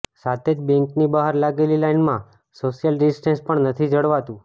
સાથે જ બેંકની બહાર લાગેલી લાઈનમાં સોશિયલ ડિસ્ટેન્સ પણ નથી જળવાતું